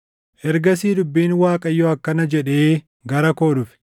Ergasii dubbiin Waaqayyoo akkana jedhee gara koo dhufe;